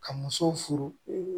Ka musow furu